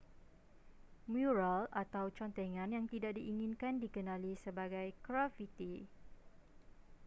mural atau contengan yang tidak diinginkan dikenali sebagai grafiti